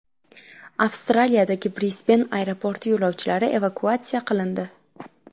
Avstraliyadagi Brisben aeroporti yo‘lovchilari evakuatsiya qilindi.